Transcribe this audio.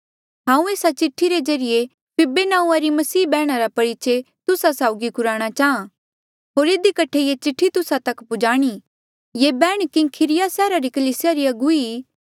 हांऊँ एस्सा चिठ्ठी रे ज्रीए फीबे नांऊँआं री मसीह बैहणा रा परिचय तुस्सा साउगी कुराणा चांहा जो ये चिठ्ठी तुस्सा तक पुजाणी ये बैहण किंख्रिया सैहरा री कलीसिया री अगुवी ई